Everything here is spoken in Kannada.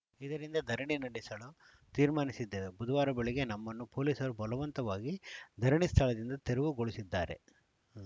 ಇದರಿಂದ ಧರಣಿ ನಡೆಸಲು ತೀರ್ಮಾನಿಸಿದ್ದೇವೆ ಬುಧವಾರ ಬೆಳಗ್ಗೆ ನಮ್ಮನ್ನು ಪೊಲೀಸರು ಬಲವಂತವಾಗಿ ಧರಣಿ ಸ್ಥಳದಿಂದ ತೆರವುಗೊಳಿಸಿದ್ದಾರೆ